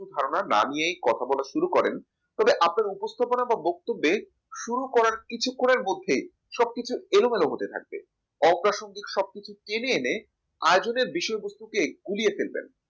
কিছু ধারণা না নিয়ে কথা বলা শুরু করেন তবে আপনার উপস্থাপনা বা বক্তব্য শুরু করার কিছুক্ষণের মধ্যে সবকিছু এলোমেলো হতে থাকবে অপ্রাসঙ্গিক সবকিছু টেনে এনে আর যদি বিষয়বস্তুকে গুলিয়ে ফেলবেন